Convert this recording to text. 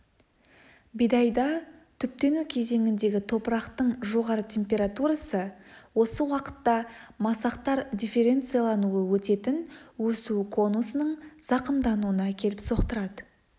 бидайда түптену кезеңіндегі топырақтың жоғары температурасы осы уақытта масақтар дифференциялануы өтетін өсу конусының зақымдануына әкеліп соқтырады